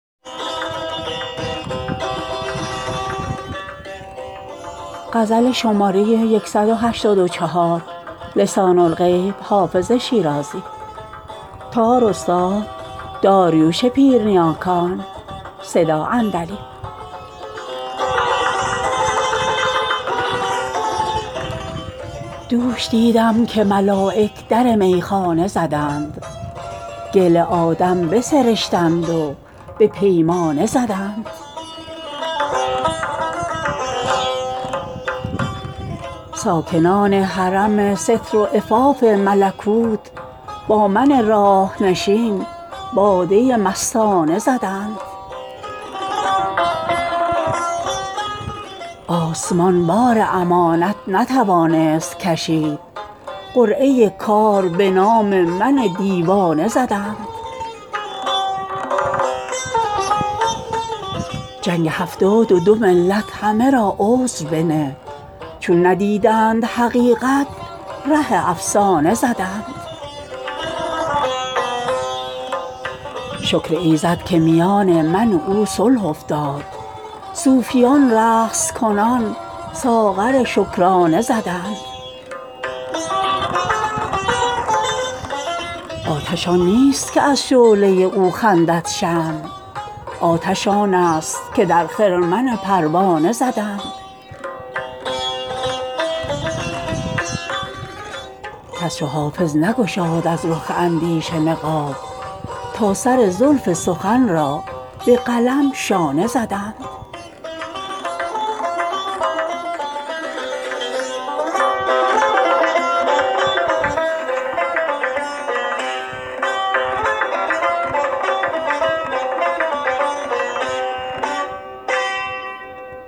دوش دیدم که ملایک در میخانه زدند گل آدم بسرشتند و به پیمانه زدند ساکنان حرم ستر و عفاف ملکوت با من راه نشین باده مستانه زدند آسمان بار امانت نتوانست کشید قرعه کار به نام من دیوانه زدند جنگ هفتاد و دو ملت همه را عذر بنه چون ندیدند حقیقت ره افسانه زدند شکر ایزد که میان من و او صلح افتاد صوفیان رقص کنان ساغر شکرانه زدند آتش آن نیست که از شعله او خندد شمع آتش آن است که در خرمن پروانه زدند کس چو حافظ نگشاد از رخ اندیشه نقاب تا سر زلف سخن را به قلم شانه زدند